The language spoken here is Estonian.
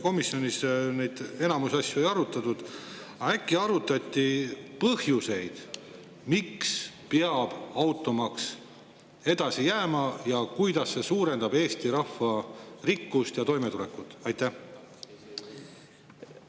Komisjonis enamikku asju ei arutatud, aga äkki arutati põhjuseid, miks peab automaks edasi jääma ning kuidas see suurendab Eesti rahva rikkust ja toimetulekut?